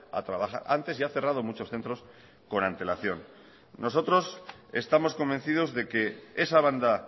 a trabajar antes y ha cerrado muchos centros con antelación nosotros estamos convencidos de que esa banda